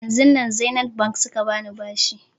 Yanzun nan zenith bank suka bani bashi